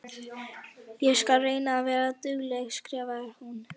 Ég skal reyna að vera dugleg, skrifar hún.